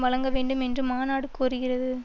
வழங்க வேண்டும் என்று மாநாடு கோருகிறது